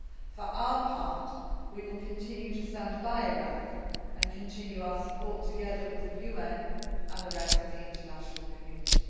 For our part, we will continue to stand by Iraq and continue our support together with the UN and the rest of the international community.